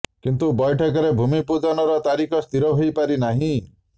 କିନ୍ତୁ ବୈଠକରେ ଭୂମି ପୂଜନର ତାରିଖ ସ୍ଥିର ହୋଇ ପାରି ନାହିଁ